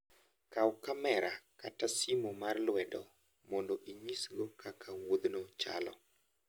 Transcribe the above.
Kaw kamera kata simu mar lwedo mondo inyisgo kaka wuodhno chalo.